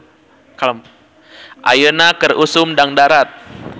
"Ayeuna keur usum dangdarat "